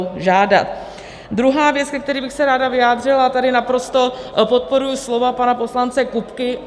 Druhá věc, ke které bych se ráda vyjádřila, tady naprosto podporuji slova pana poslance Kupky.